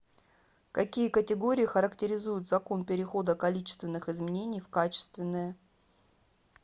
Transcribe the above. какие категории характеризуют закон перехода количественных изменений в качественные